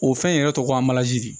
O fɛn in yɛrɛ tɔgɔ ko a balazi de